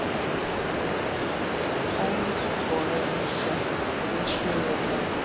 Ónýtur togari sökk við Suðurland